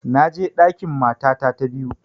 Na je ɗakin matata ta biyu